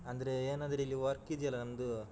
ಅಂದ್ರೆ ಏನಂದ್ರೆ ಇಲ್ಲಿ work ಇದ್ಯಲ್ಲ ನಂದು.